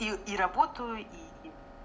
и и работаю и и